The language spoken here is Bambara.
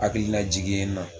Hakilina jigi ye n na.